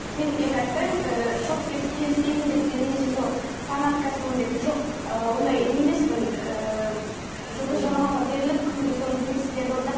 мен енді айтпаймын ыыы шорт кесіп келіспеймін деп те немесе сол фанаткасымын деп жоқ ыыы ондай не емеспін ыыы жұлдыз жорамалға беріліп күнде соның принциптерін орындап